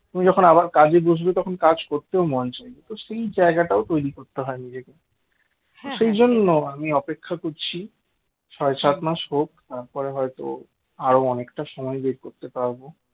তুমি যখন আবার কাজে বসবে তখন কাজ করতেও মন চাইবে তো সেই জায়গাটাও তৈরি করতে হয় নিজেকে সেই জন্য আমি অপেক্ষা করছি ছয় সাত মাস হোক তারপরে হয়তো আরো অনেকটা সময় বের করতে পারবো